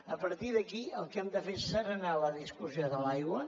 a partir d’aquí el que hem de fer és asserenar la discussió de l’aigua